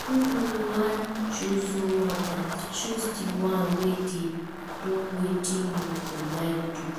If you wan choose role model choose di one wey dey do wetin you go like do